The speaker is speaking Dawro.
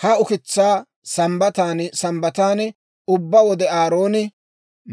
Ha ukitsaa Sambbatan Sambbatan ubbaa wode Aarooni